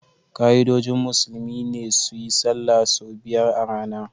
Ka'idojin musulmi ne su yi sallah sau biyar a rana